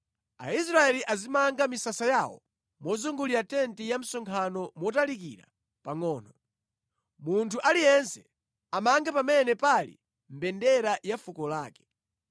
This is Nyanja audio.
“Aisraeli azimanga misasa yawo mozungulira tenti ya msonkhano motalikira pangʼono. Munthu aliyense amange pamene pali mbendera ya fuko lake.”